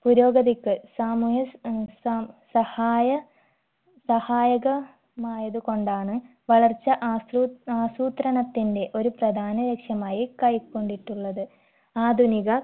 പുരോഗതിക്ക്‌ സാമൂഹ്യ ഏർ സ സഹായ സഹായകമായത് കൊണ്ടാണ് വളർച്ച ആസൂ ആസൂത്രണത്തിന്റെ ഒരു പ്രധാന ലക്ഷ്യമായി കൈകൊണ്ടിട്ടുള്ളത് ആധുനിക